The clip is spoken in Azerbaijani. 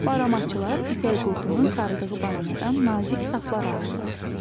Baramaçılar ipək qurdunun sarıdığı baramadan nazik saplar alırlar.